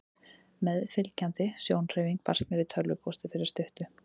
Meðfylgjandi sjónhverfing barst mér í tölvupósti fyrir stuttu.